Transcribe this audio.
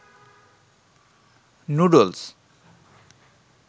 noodles